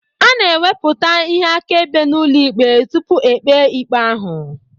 A na-ewepụta ihe akaebe n'ụlọikpe tupu e kpee ikpe ahụ.